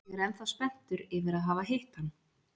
Ég er ennþá spenntur yfir að hafa hitt hann!